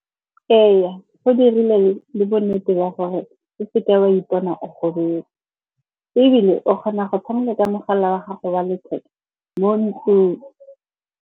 Ee, go dirile le bonnete ba gore o seke wa ipona o gobetse. Ebile o kgona go tshameka ka mogala wa gago wa letheka mo ntlong.